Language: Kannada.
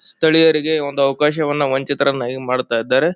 ಸ್ಥಳೀಯರಿಗೆ ಒಂದು ಅವಕಾಶವನ್ನು ವಂಚಿತರನಾಗಿ ಮಾಡ್ತಾಇದ್ದಾರೆ.